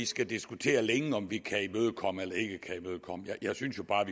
skal diskutere længe om vi kan imødekomme det jeg synes jo bare at